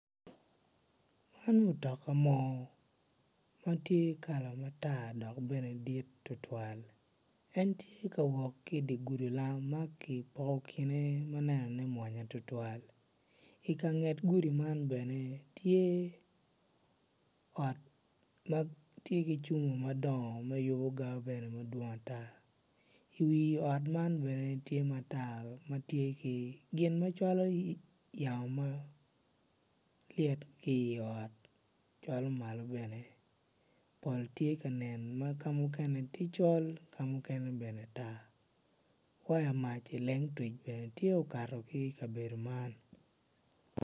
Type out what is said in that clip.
Man mutoka moo ma tye kala matar dok tye dit tutwal en tye ka wot i dye gudi lam ma ki poko kine ma nenone mit tutwal i ka nget gudi man bene tye ki ot me cuma madongo ma yubo jami mapol bene wi ot man bene tye ma tar ma tye ki gin ma kelo lyeto ki i ot cwalo malo bene pol tye ka nen ma ka muken tye col mukene tar waya mac elengtwic bene tye okato ki ikabedo man.